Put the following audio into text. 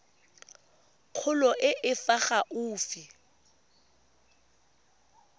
kgolo e e fa gaufi